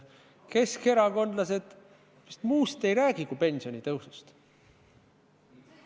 Keskerakondlased vist muust ei räägi kui pensionitõusust.